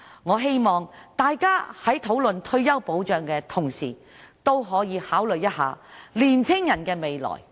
我希望大家在討論退休保障的同時，也可以考慮年青人的未來。